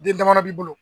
Den damadɔ b'i bolo